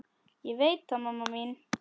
Ég veit það mamma mín.